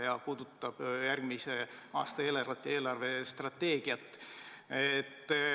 See puudutab järgmise aasta eelarvet ja eelarvestrateegiat.